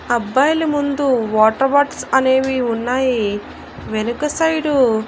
అబ్బాయిలు ముందు water boats అనేవి ఉన్నాయి వెనక సైడు--